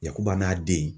Yakuba n'a den